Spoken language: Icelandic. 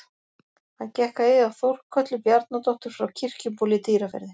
Hann gekk að eiga Þórkötlu Bjarnadóttur frá Kirkjubóli í Dýrafirði.